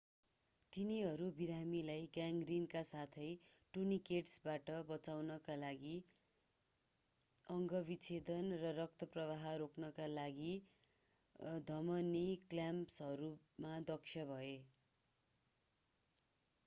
तिनीहरू बिरामीलाई ग्याङ्ग्रिनका साथै टुर्नीकेट्सबाट बचाउनका लागि अंग विच्छेदन र रक्तप्रवाह रोक्नका लागि धमनी क्ल्याम्पहरूमा दक्ष भए